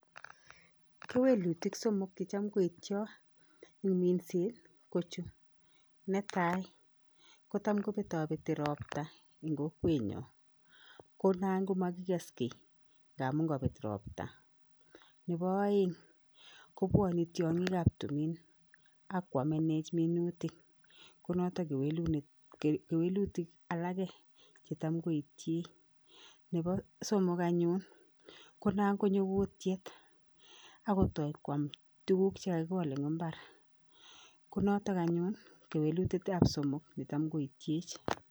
Kewelutik somok che cham koityo eng minset ko chu, netai ko tam kobetobeti ropta eng kokwenyo, ko nan ko makikes kiy ngamun kabet ropta, nebo aeng kobwone tiongikab tumin ak kwamenech minutik ko noto kewelutik alake che tam koityech, nebo somok anyun ko nangonyo kuutyet akotoi kwam tukuk che kakikol eng imbar ko notok anyun kewelutietab somok ne tam koityech.